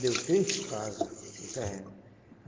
Deu três casa, o terreno.